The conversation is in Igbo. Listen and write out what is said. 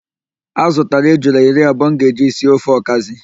A zụtara ejula iri abụọ m ga-eji si ofe ọkazị